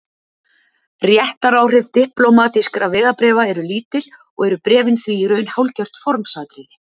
réttaráhrif diplómatískra vegabréfa eru lítil og eru bréfin því í raun hálfgert formsatriði